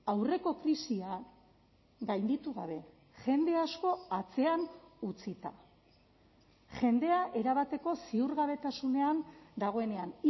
aurreko krisia gainditu gabe jende asko atzean utzita jendea erabateko ziurgabetasunean dagoenean